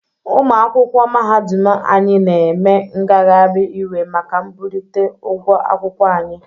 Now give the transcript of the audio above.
Ụmụ akwụkwọ mahadum anyị na eme ngagharị iwe maka mbulite ụgwọ akwụkwọ anyi.